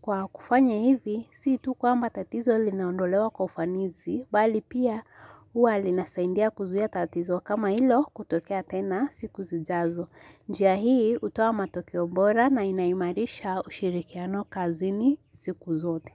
Kwa kufanya hivi, siitu kwa mba tatizo linaondolewa kufanisi, bali pia uwa lina saidia kuzuia tatizo kama hilo kutokea tena siku zijazo. Njia hii hutoa matokeo bora na inaimarisha ushirikiano kazini siku zote.